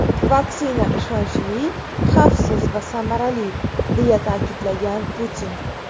Vaksina ishonchli, xavfsiz va samarali”, – deya ta’kidlagan Putin.